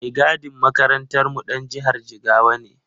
Mai gadin makarantarmu ɗan jihar Jigawa ne.